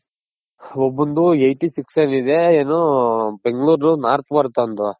ಒಬ್ನದು Eighty six ಆಗಿದೆ ಏನು bangalore north ಬರುತ್ ಅವ್ನದು.